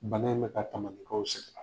Bana in bɛ ka ta